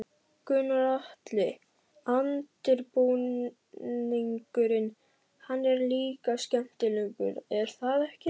Gunnar Atli: Undirbúningurinn, hann er líka skemmtilegur er það ekki?